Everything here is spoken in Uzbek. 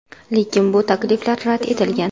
Lekin bu takliflar rad etilgan.